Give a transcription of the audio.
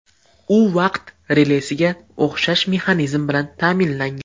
U vaqt relesiga o‘xshash mexanizm bilan ta’minlangan.